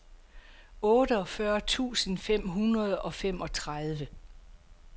otteogfyrre tusind fem hundrede og femogtredive